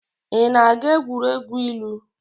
Ị na-aga egwuregwu ilu?